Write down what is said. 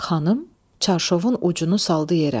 Xanım çarşovun ucunu saldı yerə.